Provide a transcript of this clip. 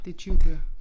Det 20 bøger